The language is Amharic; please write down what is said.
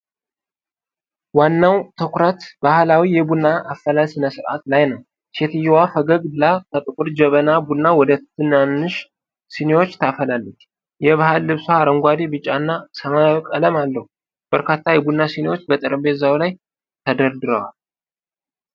ዋናው ትኩረት ባህላዊ የቡና አፈላል ሥነ ሥርዓት ላይ ነው። ሴትየዋ ፈገግ ብላ ከጥቁር ጀበና ቡና ወደ ትናንሽ ስኒዎች ታፈሳለች። የባህል ልብሷ አረንጓዴ፣ ቢጫና ሰማያዊ ቀለም አለው። በርካታ የቡና ስኒዎች በጠረጴዛው ላይ ተደርድረዋል።